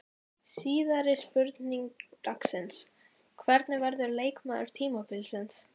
Síðari spurning dagsins: Hver verður leikmaður tímabilsins?